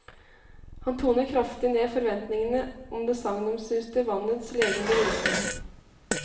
Han toner kraftig ned forventningene om det sagnomsuste vannets legende virkning.